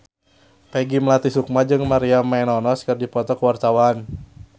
Peggy Melati Sukma jeung Maria Menounos keur dipoto ku wartawan